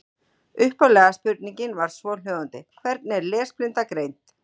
Upphaflega spurningin var svohljóðandi: Hvernig er lesblinda greind?